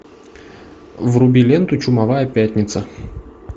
вруби ленту чумовая пятница